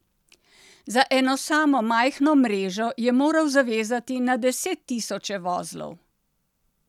Za eno samo majhno mrežo je moral zavezati na deset tisoče vozlov.